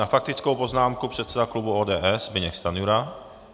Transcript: Na faktickou poznámku předseda klubu ODS Zbyněk Stanjura.